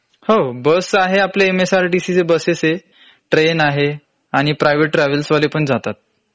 हो.बस आहे आपल्या MSRTC च्या बसेस आहेत. ट्रेन आहे आणि private ट्रॅव्हल्स वाले पण जातात.